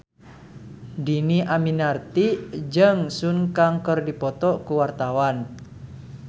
Dhini Aminarti jeung Sun Kang keur dipoto ku wartawan